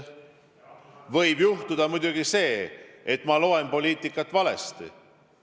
Võib muidugi juhtuda see, et ma loen poliitikat valesti.